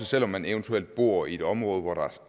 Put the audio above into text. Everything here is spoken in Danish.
selv om man eventuelt bor i et område hvor der